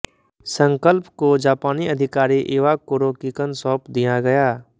संकल्प को जापानी अधिकारी इवाकुरो किकन सौंप दिया गया